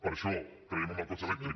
per això creiem en el cotxe elèctric